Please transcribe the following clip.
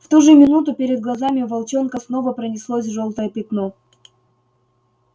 в ту же минуту перед глазами у волчонка снова пронеслось жёлтое пятно